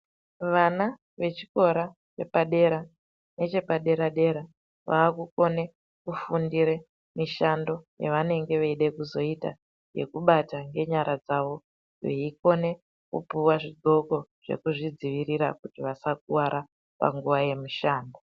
Vana vechikora chepadera nechepadera-dera vakukone kufundire mushando yavanenge veide kuzoita nekubata ngenyara dzavo. Veikone kupuva zvidhloko zvekuzvidzivirira kuti vasakuvara panguva yemishando.